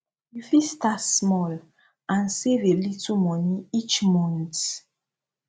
you fit start small and save a little money each month